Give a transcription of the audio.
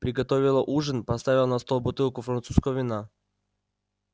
приготовила ужин поставила на стол бутылку французского вина